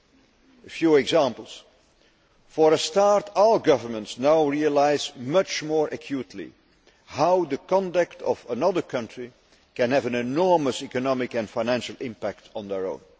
To give a few examples, for a start all governments now realise much more acutely how the conduct of another country can have an enormous economic and financial impact on their own.